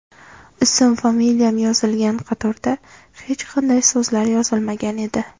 Ism-familiyam yozilgan qatorda hech qanday so‘zlar yozilmagan edi.